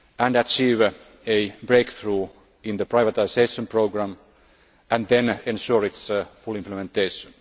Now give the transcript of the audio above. achieve a breakthrough in the privatisation programme, and then ensure its full implementation.